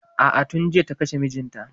A'a tun jiya ta kashe mijinta.